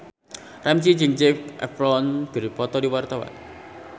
Ramzy jeung Zac Efron keur dipoto ku wartawan